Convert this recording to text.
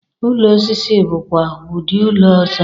Ụlọ osisi bụkwa udị ụlọ ọzọ.